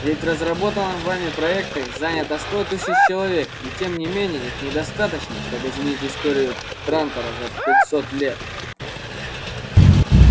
ведь в разработанном вами проекте занято сто тысяч человек и тем не менее их недостаточно чтобы изменить историю трантора за пятьсот лет